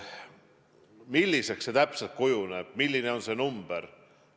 Milliseks see täpselt kujuneb, milline on see number?